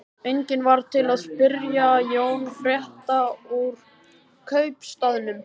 Enginn varð til að spyrja Jón frétta úr kaupstaðnum.